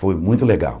Foi muito legal.